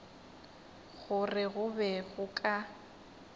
gore go be go ka